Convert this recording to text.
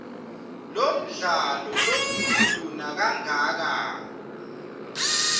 lomdlalo lomkhulu nakangaka